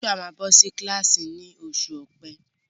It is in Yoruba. Joshua máa bọ́ sí kílàsì ni oṣù ọ̀pe.